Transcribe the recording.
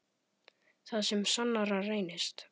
Það sem sannara reynist